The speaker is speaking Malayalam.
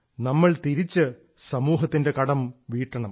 നമ്മൾ തിരിച്ച് സമൂഹത്തിന്റെ കടം വീട്ടണം